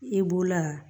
E bolola